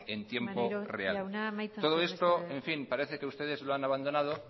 en tiempo real maneiro jauna amaitzen joan mesedez todo esto en fin parece que ustedes lo han abandonado